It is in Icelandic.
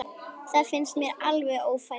Það finnst mér alveg ófært.